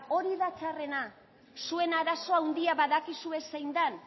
hori da txarrena zuen arazo handia badakizue zein dan